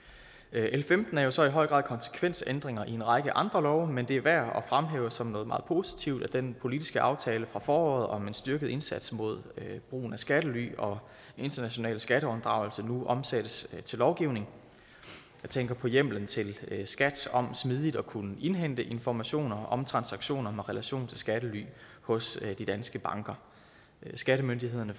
l femten er så i høj grad konsekvensændringer i en række andre love men det er værd at fremhæve som noget meget positivt at den politiske aftale fra foråret om en styrket indsats mod brugen af skattely og international skatteunddragelse nu omsættes til lovgivning jeg tænker på hjemmelen til skat om smidigt at kunne indhente informationer om transaktioner med relation til skattely hos de danske banker skattemyndighederne